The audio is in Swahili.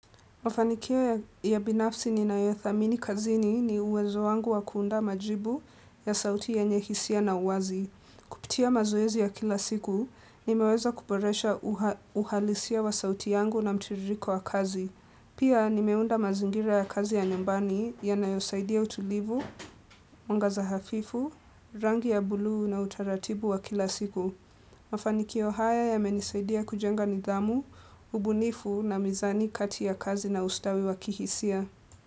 Mafanikio ya binafsi ninayothamini kazini ni uwezo wangu wa kuunda majibu ya sauti yenye hisia na uwazi. Pitia mazoezi ya kila siku, nimeweza kuboresha uhalisia wa sauti yangu na mtiririko wa kazi. Pia nimeunda mazingira ya kazi ya nyumbani yanayosaidia utulivu, mwangaza hafifu, rangi ya bulu na utaratibu wa kila siku. Mafaniki haya yamenisaidia kujenga nidhamu, ubunifu na mizani kati ya kazi na ustawi wa kihisia.